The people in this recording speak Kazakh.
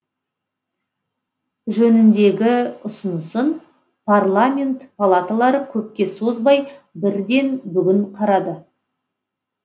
жөніндегі ұсынысын парламент палаталары көпке созбай бірден бүгін қарады